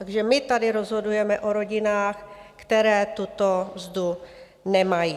Takže my tady rozhodujeme o rodinách, které tuto mzdu nemají.